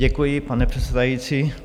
Děkuji, pane předsedající.